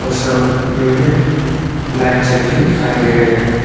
में लाइट जल के दिखाई दे रहे हैं।